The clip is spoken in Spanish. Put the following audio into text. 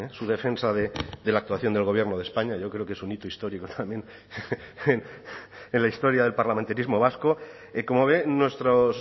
su defensa de la actuación del gobierno de españa yo creo que es un hito histórico también en la historia del parlamentarismo vasco como ve nuestros